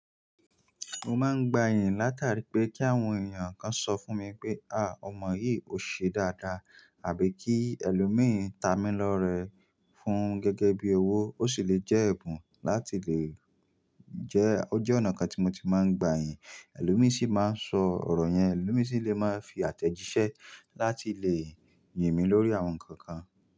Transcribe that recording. Mo máa ń gba yìnyín látàrí pé kí àwọn èèyàn kan sọ fún mi pé, ah! Ọmọ yìí ò ṣe dáadáa àbí kí ẹlòmíràn ta mí lọ́rẹ fún gẹ́gẹ́ bí owó ó sì lè jẹ́ ẹ̀bùn láti lè jẹ́ ó jẹ́ ọ̀nà kan tí mo ti máa ń gba yìnyín. Ẹlòmíràn sì máa ń sọ ọ̀rọ̀ yẹn, ẹlòmíràn sì lè máa fi àtẹ̀jíṣẹ́ láti lè yìn mí lórí àwọn nǹkan kan.